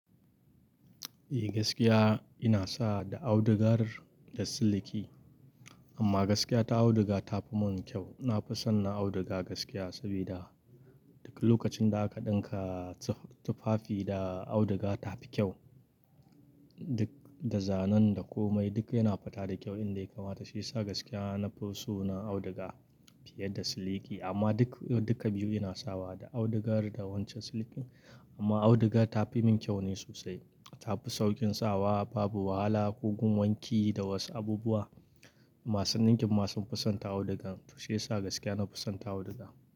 Eh gaskiya ina sawa da audugar da siliki. Amma gaskiya ta auduga ta fi mun kyau. Na fi son na auduga gaskiya saboda duk lokacin da aka ɗinka tufafi da auduga ta fi kyau. Duk da zanen da komai duk yana fata da kyau in da yakamata shi ya sa gaskiya na fi so na auduga fiye da siliki. Amma duk, duka biyu ina sawa da audugar da wancan siliki. Amma auduga ta fi mun kyau ne sosai. Ta fi saukin sawa, babu wahala ko gun wanki da wasu abubuwa. Masun ɗinkin masu fisanta audugan to shiyasa gaskiya na fisanta auduga.